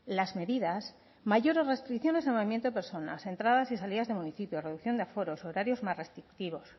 las medidas mayores restricciones en el movimiento de personas entradas y salidas de municipios reducción de aforos horarios más restrictivos